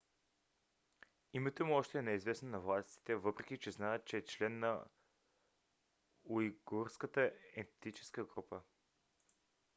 името му още не е известно на властите въпреки че знаят че е член на уйгурската етническа група